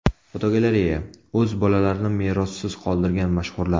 Fotogalereya: O‘z bolalarini merossiz qoldirgan mashhurlar.